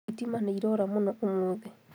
Thitima nĩirora mũno ũmũthĩ